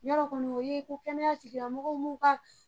Yɔrɔ kɔni o ye ko kɛnɛya tigilamɔgɔw m'u ka